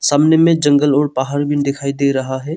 सामने में जंगल और पहाड़ भी दिखाई दे रहा है।